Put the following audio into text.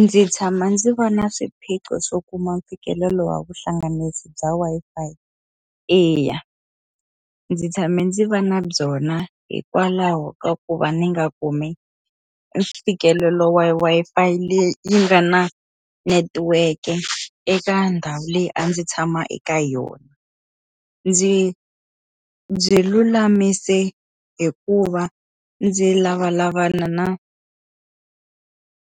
Ndzi tshama ndzi va na swiphiqo swo kuma mfikelelo wa vuhlanganisi bya Wi-Fi? Eya. Ndzi tshame ndzi va na byona hikwalaho ka ku va ni nga kumi mfikelelo wa Wi-Fi leyi yi nga na netiweke eka ndhawu leyi a ndzi tshama eka yona. Ndzi byi lulamise hi ku va ndzi lavalavana na i